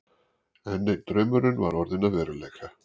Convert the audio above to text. Enn einn draumurinn var orðinn að veruleika.